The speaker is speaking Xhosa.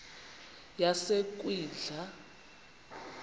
yasekwindla